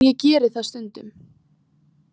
En ég geri það stundum.